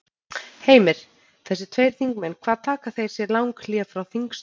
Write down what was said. Heimir: Þessir tveir þingmenn hvað taka þeir sér lang hlé frá þingstörfum?